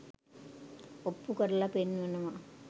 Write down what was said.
ඔප්පු කරලා පෙන්වනවා.